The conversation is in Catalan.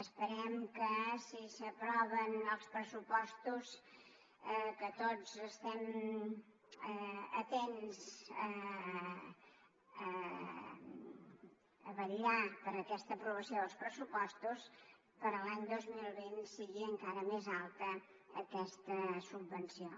esperem que si s’aproven els pressupostos que tots estem atents a vetllar per aquesta aprovació dels pressupostos per a l’any dos mil vint sigui encara més alta aquesta subvenció